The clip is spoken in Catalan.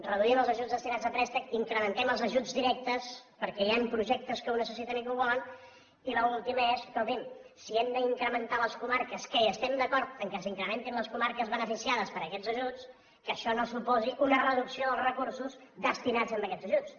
reduïm els ajuts destinats a préstecs incrementem els ajuts directes perquè hi han projectes que ho necessiten i que ho volen i l’última és escolti’m si hem d’incrementar les comarques que estem d’acord que s’incrementin les comarques beneficiades per a aquests ajuts que això no suposi una reducció dels recursos destinats a aquests ajuts